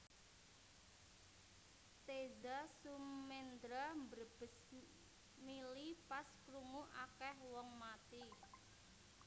Teza Sumendra mbrebes mili pas krungu akeh wong mati